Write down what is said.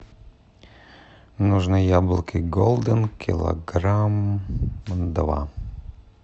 нужны яблоки голден килограмм два